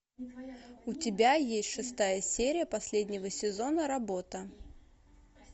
у тебя есть шестая серия последнего сезона работа